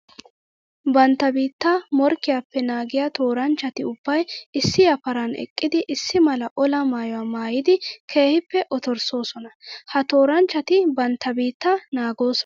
Bantta biitta morkkiyappe naagiya tooranchchatti ubbay issi yafaran eqqiddi issi mala olaa maayuwa maayiddi keehippe ottorssosonna. Ha tooranchchatti bantta biitta naagosonna.